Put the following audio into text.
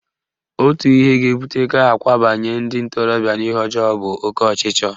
Otu ihe ga-ebute ka akwabanye ndị ntorobịa n'ihe ọjọọ bụ oke ọchịchọ